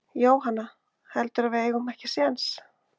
Jóhanna: Heldurðu að við eigum ekki séns?